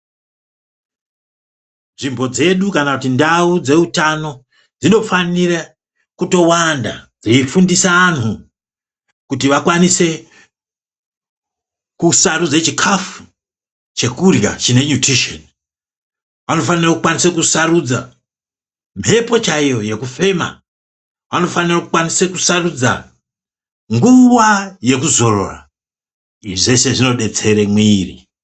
Nzvimbo dzedu kana kuti ndau dzeutano dznofanire kutowanda. Dzeifundisa antu kuti vakwanise kusarudze chikafu chekurya chine nyutisheni. Vanofanire kukwanise kusarudza mhepo chaiyo yekufema. Vanofanire kukwanise kusarudza nguva yekuzorora, izvi zveshe zvinobatsire mwiri.